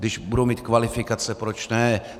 Když budou mít kvalifikaci, proč ne?